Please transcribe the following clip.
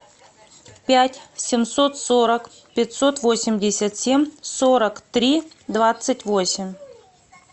пять семьсот сорок пятьсот восемьдесят семь сорок три двадцать восемь